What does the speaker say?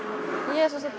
ég er